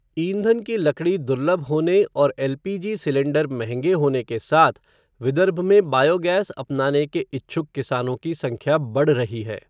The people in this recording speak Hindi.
ईंधन की लकड़ी दुर्लभ होने और एलपीजी सिलेंडर महंगे होने के साथ, विदर्भ में बायोगैस अपनाने के इच्छुक किसानों की संख्या बढ़ रही है.